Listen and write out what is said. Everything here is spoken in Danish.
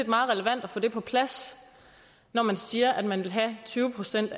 meget relevant at få det på plads når man siger at man vil have tyve procent